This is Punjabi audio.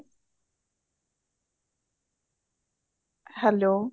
hello